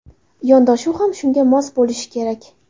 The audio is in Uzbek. Yondashuv ham shunga mos bo‘lishi kerak.